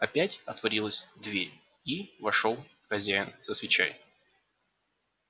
опять отворилась дверь и вошёл хозяин со свечой